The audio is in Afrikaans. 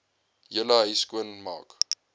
hele huis skoonmaak